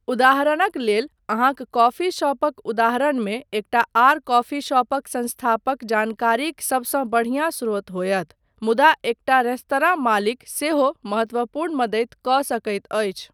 उदाहरणक लेल, अहाँक कॉफी शॉपक उदाहरणमे एकटा आर कॉफी शॉपक संस्थापक जानकारीक सबसँ बढियाँ स्रोत होयत, मुदा एकटा रेस्तरां मालिक सेहो महत्वपूर्ण मदति कऽ सकैत अछि।